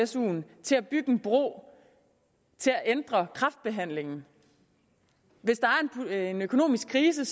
suen til at bygge en bro til at ændre kræftbehandlingen hvis der er en økonomisk krise